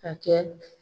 A kɛ